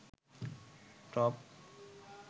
top